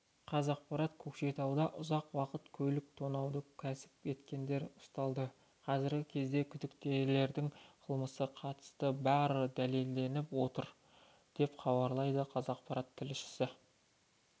қазақпарат көкшетауда ұзақ уақыт көлік тонауды кәсіп еткендер ұсталды қазіргі кезде күдіктілердің қылмысқа қатысы бары дәлелденіп отыр деп хабарлайды қазақпарат тілшісі